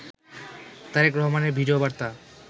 তারেক রহমানের ভিডিও বার্তা